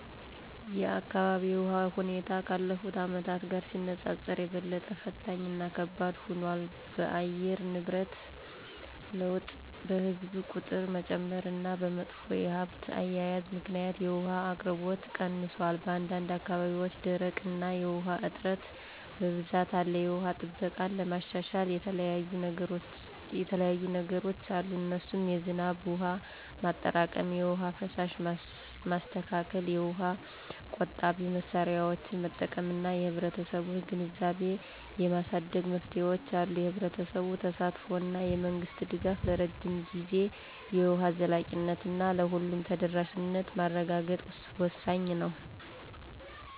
የአካባቢው የውሃ ሁኔታ ካለፉት አመታት ጋር ሲነጻጸር የበለጠ ፈታኝ እና ከባድ ሆኗል። በአየር ንብረት ለውጥ፣ በሕዝብ ቁጥር መጨመር እና በመጥፎ የሀብት አያያዝ ምክንያት የውሃ አቅርቦት ቀንሷል። በአንዳንድ አካባቢዎች ድርቅ እና የውሃ እጥረት በብዛት አለ። የውሃ ጥበቃን ለማሻሻል የተለያዩየ ነገሮች አሉ እነሱም የዝናብ ውሃ ማጠራቀም፣ የውሃ ፍሳሽ ማስተካከል፣ የውሃ ቆጣቢ መሳሪያዎችን መጠቀም እና የህብረተሰቡን ግንዛቤ የማሳደግ መፍትሄዎች አሉ። የህብረተሰቡ ተሳትፎ እና የመንግስት ድጋፍ ለረጅም ጊዜ የውሃ ዘላቂነት እና ለሁሉም ተደራሽነት ማረጋገጥ ወሳኝ ነው